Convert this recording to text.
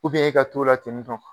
e ka t'o la ten ni tɔn